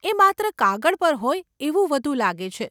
એ માત્ર કાગળ પર હોય એવું વધુ લાગે છે.